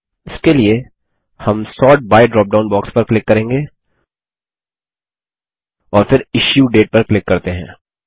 इसके लिए हम सोर्ट बाय ड्रॉपडाउन बॉक्स पर क्लिक करेंगे और फिर इश्यू डेट पर क्लिक करते हैं